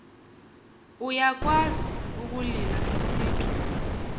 iyakwazi ukulila isithu